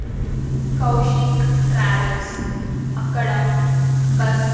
Kaushik travels అక్కడ bus .